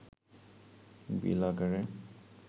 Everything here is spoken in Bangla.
বিল আকারে